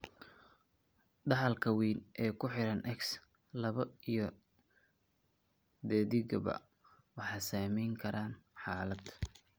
Dhaxalka wayn ee ku xidhan X, lab iyo dhedigba waxa saamayn kara xaalad.